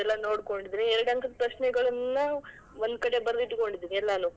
ಅದೆಲ್ಲಾ ನೋಡ್ಕೊಂಡಿದೀನಿ. ಎರಡ್ ಅಂಕದ್ ಪ್ರಶ್ನೆಗಳನ್ನ ಒಂದ್ಕಡೆ ಬರೆದಿಟ್ಕೊಂಡಿದೀನಿ ಎಲ್ಲಾನೂ, .